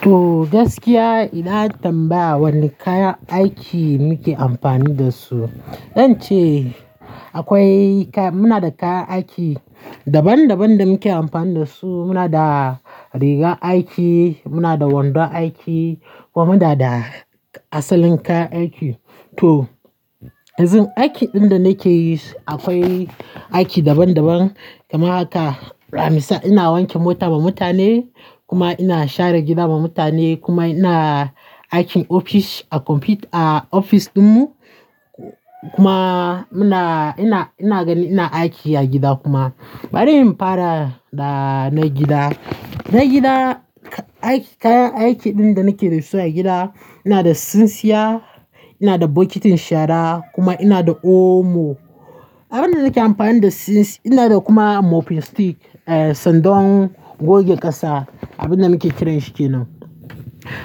To gaskiya idan an tambaya wane kayan aiki muke amfani da su, zance akwai muna da kayan aiki daban daban da muke amfani da su. Muna da rigar aiki, muna da wandon aiki kuma muna da asalin kayan aiki. To yanzu aikin ɗin da nake yi akwai aiki daban daban. Kaman. Haka ami sa ina wanke mota ma mutane kuma ina share gida ma mutane kuma ina aikin ofis a computer a ofis ɗinmu kuma ina, ina, ina gani ina aiki a gida kuma. Bari in fara da na gida. Na gida kayan aikin ɗin da nake da su a gida, ina da sinsiya, ina da bokitin shara kuma ina da omo. Abin da nake amfani da, ina da kuma mopping stick, sandan goge ƙasa, abin da muke kiran shi kenan.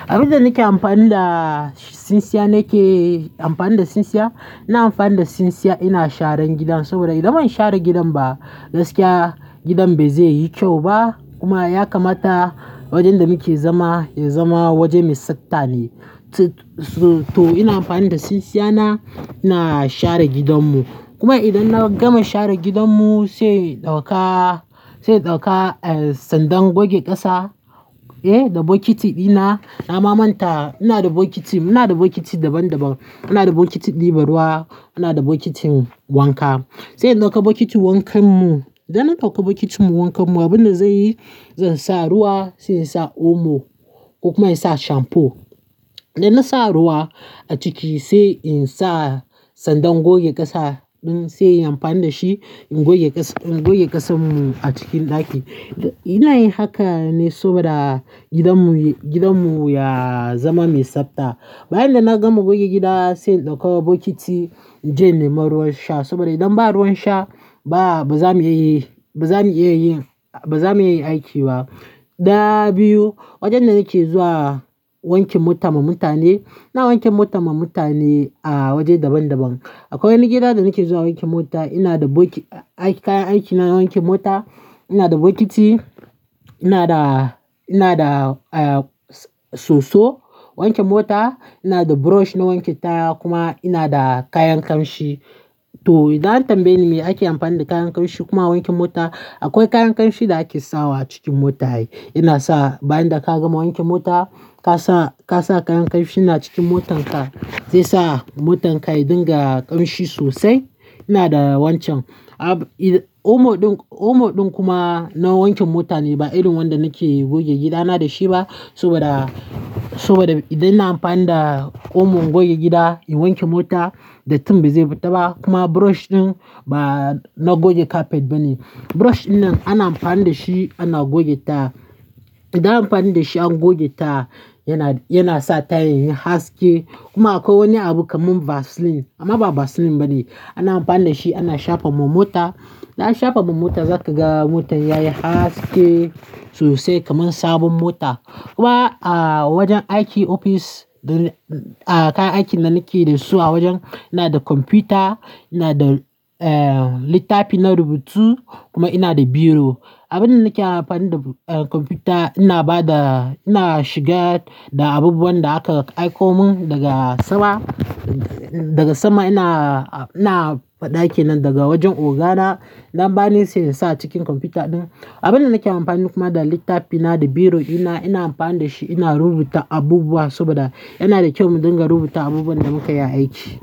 Abin da nake amfani da sinsiya nake amfani da sinsiya, ina amfani da sinsiya ina sharan gidan saboda idan ban share gidan ba gaskiya gidan bai zai yi kyau ba kuma ya kamata wajen da muke zama ya zama waje mai tsafta ne. To ina amfani da sinsiya na ina share gidanmu. Kuma idan na gama share gidanmu sai in ɗauka, sai in ɗauka sandan goge ƙasa eh da bokiti ɗina. Na mamanta ina da bokiti, muna da bokiti daban daban. Muna da bokitin ɗiba ruwa, ina da bokitin wanka. Sai in ɗauka bokitin wankanmu. Idan na ɗauka bokitin wankanmu abin da zai yi, zan sa ruwa, sai in sa omo ko kuma in sa shamfu. Idan na sa ruwa a ciki sai in sa sandan goge ƙasa ɗin sai in amfani da shi in goge ƙasanmu a cikin ɗaki. Ina yin haka ne saboda gidanmu, gidanmu ya zama mai tsafta. Bayan da na gama goge gida sai in ɗauka bokiti in je in yi ma ruwan sha saboda idan ba ruwan sha ba bazamu iya yi, bazamu iya yi, bazamu iya aiki ba. Daya biyu, wajen da nake zuwa wanke mota ma mutane, na wanke mota ma mutane a waje daban daban. Akwai wani gida da nake zuwa wanke mota, ina da kayan aikin na wanke mota. Ina da bokiti, ina da, ina da soso wanke mota, ina da brush na wanke taya kuma ina da kayan ƙamshi. To idan an tambaye ni me ake amfani da kayan ƙamshi kuma wanke mota, akwai kayan ƙamshi da ake sawa a cikin mota. Ina sa bayan da ka gama wanke mota ka sa, ka sa kayan ƙamshi na cikin motarka zai sa motarka ta dinga ƙamshi sosai. Ina da wancan. Omo ɗin, omo ɗin kuma na wanke mota ne ba irin wanda nake goge gida na da shi ba saboda, saboda idan ina amfani da omo goge gida in wanke mota, datin bai zai fita ba kuma brush ɗin ba na goge kafet ba ne. Brush dinnan ana amfani da shi ana goge taya. Idan ana amfani da shi an goge taya yana, yana sa tayan yin haske kuma akwai wani abu kamar vasline, amma ba vasline ba ne. Ana amfani da shi ana shafa ma mota. Idan aka shafa ma mota zaka ga motar yayi haske sosai kamar sabon mota. Kuma a wajen aiki ofis, kayan aikin da nake da su a wajen ina da kwamfuta, ina da littafi na rubutu kuma ina da biro. Abin da nake amfani da kwamfuta ina ba da, ina shiga da abubuwan da aka aiko mun daga sama, daga sama ina, ina ɗaki nan daga wajen ogana. Idan an bani sai in sa a cikin kwamfuta ɗin. Abin da nake amfani kuma da littafi, ina da biro ina, ina amfani da shi ina rubuta abubuwa saboda yana da kyau mu dinga rubuta abubuwan da muke yi aiki.